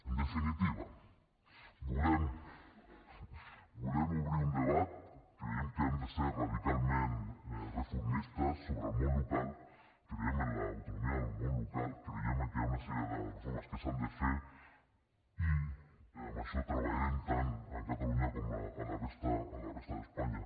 en definitiva volem obrir un debat creiem que hem de ser radicalment reformistes sobre el món local creiem en l’autonomia del món local creiem que hi ha una sèrie de reformes que s’han de fer i en això treballarem tant a catalunya com a la resta d’espanya